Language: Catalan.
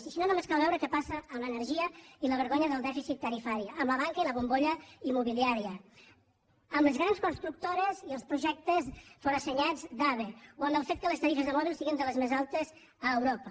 i si no només cal veure què passa amb l’energia i la vergonya del dèficit tarifari amb la banca i la bombolla immobiliària amb les grans constructores i els projectes forassenyats d’ave o amb el fet que les tarifes de mòbil siguin de les més altes a europa